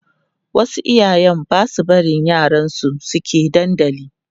wasu iyayen Basu barin yaran su suke dandali